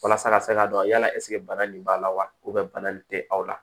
Walasa ka se ka dɔn yala ɛsɛ bana nin b'a la wa bana nin tɛ aw la